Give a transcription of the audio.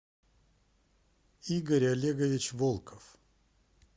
игорь олегович волков